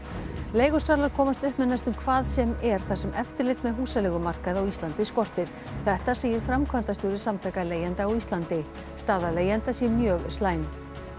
leigusalar komast upp með næstum hvað sem er þar sem eftirlit með húsaleigumarkaði á Íslandi skortir þetta segir framkvæmdastjóri Samtaka leigjenda á Íslandi staða leigjenda sé mjög slæm